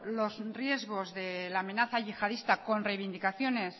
los riesgos de la amenaza yihadista con reivindicaciones